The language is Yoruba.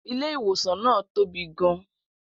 Ilé-ìwòsàn náà tóbi gan